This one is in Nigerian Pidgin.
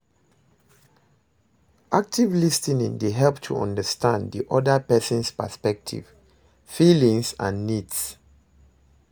Active lis ten ing dey help to understand di oda person's perspective, feelings and needs.